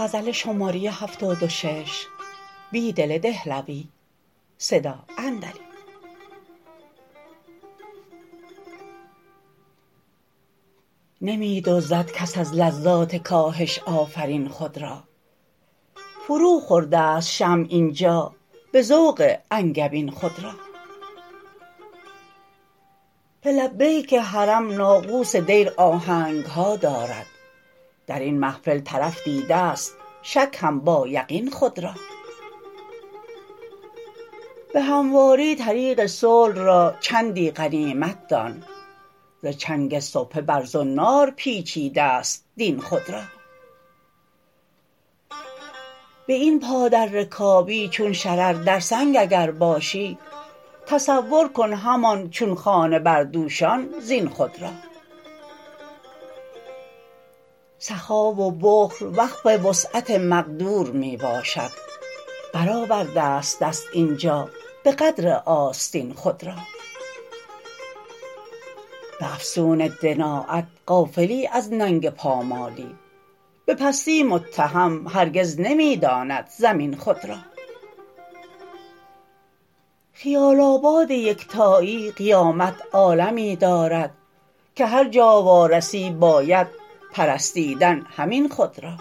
نمی دزدد کس از لذات کاهش آفرین خود را فرو خورده ست شمع اینجا به ذوق انگبین خود را به لبیک حرم ناقوس دیر آهنگها دارد در این محفل طرف دیده ست شک هم با یقین خود را به همواری طریق صلح را چندی غنیمت دان ز چنگ سبحه بر زنار پیچیده ست دین خود را به این پا در رکابی چون شرر در سنگ اگر باشی تصورکن همان چون خانه بر دوشان زین خود را سخا و بخل وقف وسعت مقدور می باشد برآورده ست دست اینجا به قدر آستین خود را به افسون دنایت غافلی از ننگ پامالی به پستی متهم هرگز نمی داند زمین خود را خیال آباد یکتایی قیامت عالمی دارد که هرجا وارسی باید پرستیدن همین خود را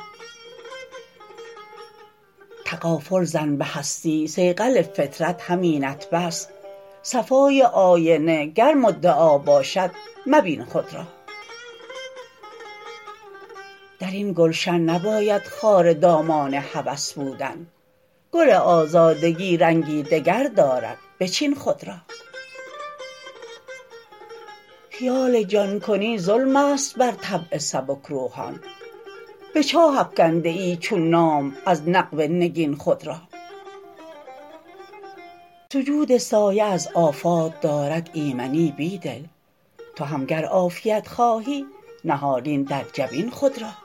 تغافل زن به هستی صیقل فطرت همینت بس صفای آینه گر مدعا باشد مبین خود را در این گلشن نباید خار دامان هوس بودن گل آزادگی رنگی دگر دارد بچین خود را خیال جان کنی ظلم است بر طبع سبکروحان به چاه افکنده ای چون نام از نقب نگین خود را سجود سایه از آفات دارد ایمنی بیدل تو هم گر عافیت خواهی نهالین در جبین خود را